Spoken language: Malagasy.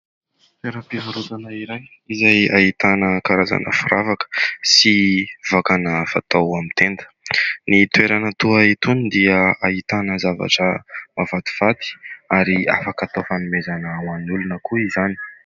Toeram-pivarotana iray izay ahitana karazana firavaka sy vakana fatao amin'ny tenda ; ny toerana toa itony dia ahitana zavatra mahafatifaty ary afaka atao fanomezana ho an'ny olona koa izany.